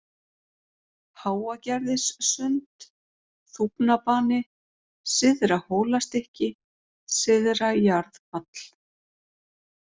Háagerðissund, Þúfnabani, Syðra-Hólastykki, Syðra-Jarðfall